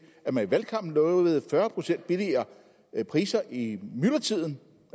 at man i valgkampen lovede fyrre procent billigere priser i myldretiden